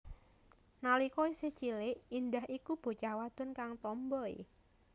Nalika isih cilik Indah iku bocah wadon kang tomboi